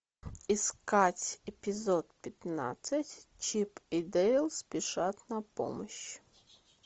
искать эпизод пятнадцать чип и дейл спешат на помощь